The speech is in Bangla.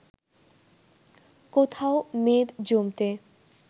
কোথাও মেদ জমতে